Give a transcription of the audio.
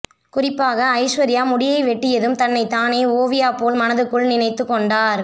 குறிப்பாக ஐஸ்வர்யா முடியை வெட்டியதும் தன்னைத்தானே ஓவியா போல் மனதுக்குள் நினைத்து கொண்டார்